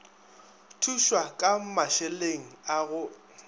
thušwa ka mašeleng a go